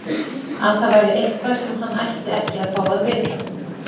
Að það væri eitthvað sem hann ætti ekki að fá að vita.